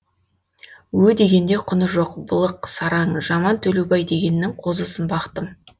ө дегенде құны жоқ былық сараң жаман төлеубай дегеннің қозысын бақтым